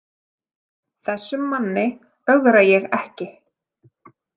Þessum manni ögra ég ekki.